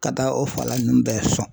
Ka taa o fala ninnu bɛɛ sɔn